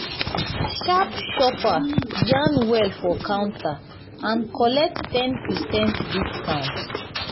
smart shopper yarn well for counter and collect ten percent discount.